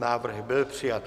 Návrh byl přijat.